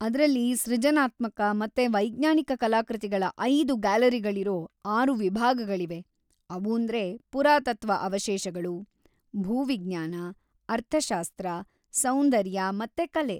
ಅದ್ರಲ್ಲಿ ಸರ್ಜನಾತ್ಮಕ ಮತ್ತೆ ವೈಜ್ಞಾನಿಕ ಕಲಾಕೃತಿಗಳ ಐದು ಗ್ಯಾಲರಿಗಳಿರೋ ಆರು ವಿಭಾಗಗಳಿವೆ; ಅವೂಂದ್ರೆ ಪುರಾತತ್ವ ಅವಶೇಷಗಳು, ಭೂವಿಜ್ಞಾನ, ಅರ್ಥಶಾಸ್ತ್ರ, ಸೌಂದರ್ಯ ಮತ್ತೆ ಕಲೆ.